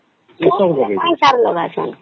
କିିେଉଁ ଶାଗ୍ ସବୁ